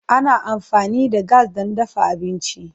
Ana amfani da gas don dafa abinci.